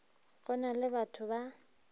go na le bato ba